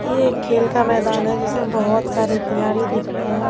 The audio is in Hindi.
ये एक खेल का मैदान है जिसमें बहोत सारे खिलाड़ी दिख रहे हैं।